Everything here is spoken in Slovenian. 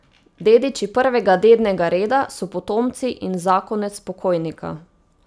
Dediči prvega dednega reda so potomci in zakonec pokojnika.